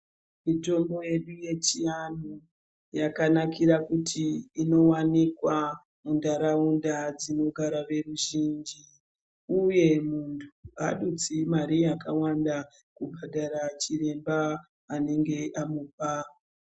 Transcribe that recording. Mitombo yedu yechiandu yakanakira kuti inowanikwa mundaraunda dzinogara veruzhinji uye muntu adutsi Mari yakawanda kubhadhara chiremba anenge amupa.